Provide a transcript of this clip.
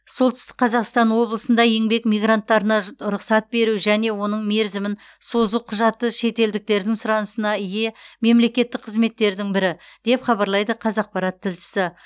солтүстік қазақстан облысында еңбек мигранттарына рұқсат беру және оның мерзімін созу құжаты шетелдіктердің сұранысына ие мемлекеттік қызметтердің бірі деп хабарлайды қазақпарат тілшісі